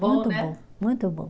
Muito bom, muito bom.